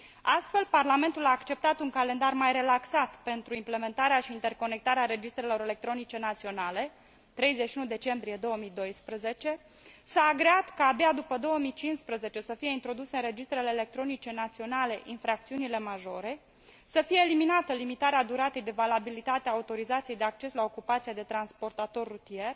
Astfel, Parlamentul a acceptat un calendar mai relaxat pentru implementarea și interconectarea registrelor electronice naționale s a agreat ca abia după 2015 să fie introduse în registrele electronice naționale infracțiunile majore, să fie eliminată limitarea duratei de valabilitate a autorizației de acces la ocupația de transportator rutier,